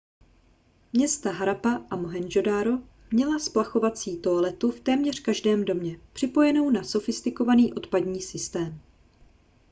města harappa a mohendžodaro měla splachovací toaletu v téměř každém domě připojenou na sofistikovaný odpadní systém